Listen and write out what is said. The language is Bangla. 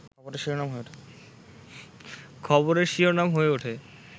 খবরের শিরোনাম হয়ে ওঠে